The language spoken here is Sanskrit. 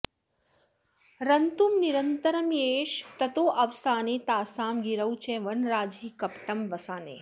रन्तुं निरन्तरमियेष ततोऽवसाने तासां गिरौ च वनराजिपटं वसाने